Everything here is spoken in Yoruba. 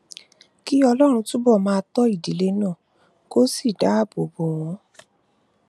kí ọlọrun túbọ máa tọ ìdílé náà kó sì dáàbò bò wọn